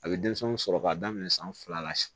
A bɛ denmisɛnw sɔrɔ k'a daminɛ san fila la sa